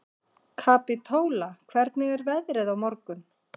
Kapítóla, hvernig er veðrið á morgun?